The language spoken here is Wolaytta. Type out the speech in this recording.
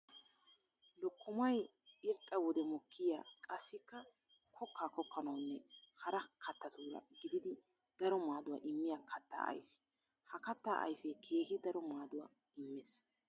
Lokkomay irxxa wode mokkiya qassikka kokka kokkanawunne hara kattatura gididi daro maaduwa immiya katta ayfe. Ha katta ayfe keehi daro maaduwa imees.